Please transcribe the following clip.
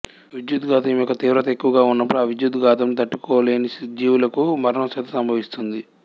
విద్యుద్ఘాతము యొక్క తీవ్రత ఎక్కువగా ఉన్నప్పుడు ఆ విద్యుత్ ఘాతంను తట్టుకోలేని జీవులకు మరణం సైతం సంభవిస్తుంది